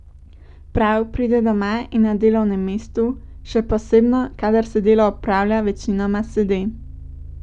Prav pride doma in na delovnem mestu, še posebno kadar se delo opravlja večinoma sede.